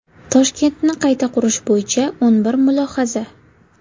Toshkentni qayta qurish bo‘yicha o‘n bir mulohaza.